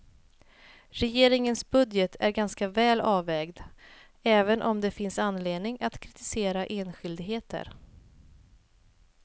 Regeringens budget är ganska väl avvägd, även om det finns anledning att kritisera enskildheter.